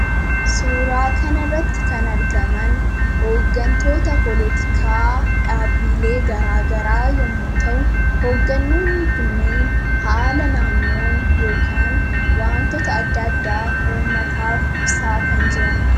Suuraa kanarratti kan argaman; hooggantoota polotikaa, dhaabbilee garagaraa yommuu ta'uu, hogganoonni kunneen haala naannoo yookaan wantoota adda addaa uummataaf ibsaa kan jiranidha.